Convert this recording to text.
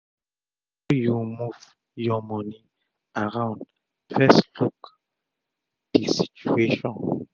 before u move ur moni around fess look d situation